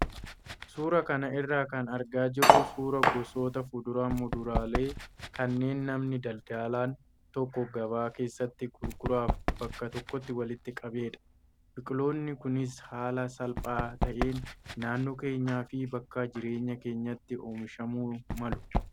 Suuraa kana irraa kan argaa jirru suuraa gosoota fuduraalee muduraalee kanneen namni daldalaan tokko gabaa keessatti gurguraaf bakka tokkotti walitti qabedha. Biqiloonni kunis haala salphaa ta'een naannoo keenyaa fi bakka jireenya keenyaatti oomishamuu malu.